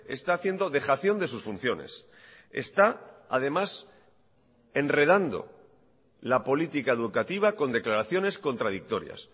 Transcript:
está haciendo dejación de sus funciones está además enredando la política educativa con declaraciones contradictorias